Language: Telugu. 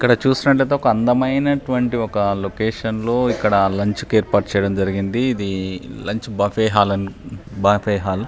ఇక్కడ చూసినట్లయితే ఒక అందమైనటువంటి ఒక లొకేషన్ లో ఇక్కడ లంచ్ కి ఏర్పాటు చేయడం జరిగినది. ఇది లంచ్ బఫె హాల్ అని బఫె హాల్ .